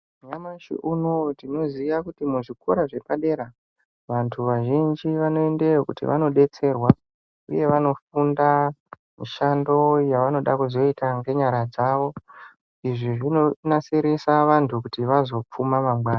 Nyamashi unowu tinoziya kuti mu zvikora zvepadera vantu vazhinji vano endeyo kuti vano detserwa uye vano funda mushando yavanoda kuzoita ne nyara dzavo izvi zvino nasirisa vantu vazo pfuma mangwani.